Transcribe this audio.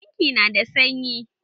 Bankin na da sanyi